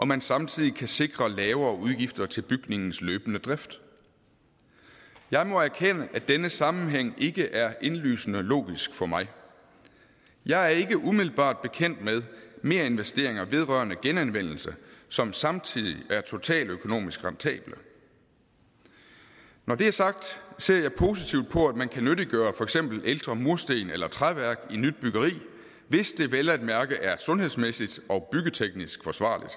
man samtidig kan sikre lavere udgifter til bygningens løbende drift jeg må erkende at denne sammenhæng ikke er indlysende logisk for mig jeg er ikke umiddelbart bekendt med merinvesteringer vedrørende genanvendelse som samtidig er totaløkonomisk rentable når det er sagt ser jeg positivt på at man kan nyttiggøre for eksempel ældre mursten eller træværk i nyt byggeri hvis det vel at mærke er sundhedsmæssigt og byggeteknisk forsvarligt